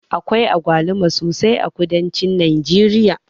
Akwai agwaluma sosai a kudancin najeriya.